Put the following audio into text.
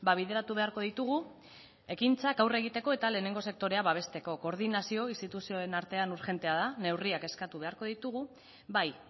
bideratu beharko ditugu ekintzak aurre egiteko eta lehenengo sektorea babesteko koordinazioa instituzioen artean urgentea da neurriak eskatu beharko ditugu bai